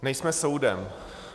Nejsme soudem.